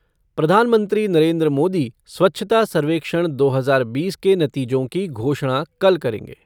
प्रधानमंत्री नरेन्द्र मोदी स्वच्छता सर्वेक्षण दो हज़ार बीस के नतीजों की घोषणा कल करेंगे।